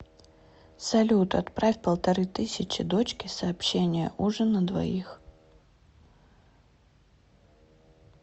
салют отправь полторы тысячи дочке сообщение ужин на двоих